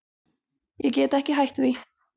Ég get ekki hætt því.